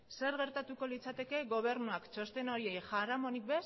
zer gertatuko litzateke gobernuak txosten horiei jaramonik